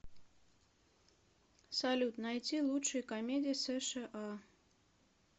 салют найти лучшие комедии сша